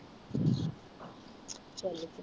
ਚਾਲ ਕੇ